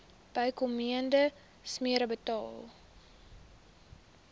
bykomende smere betaal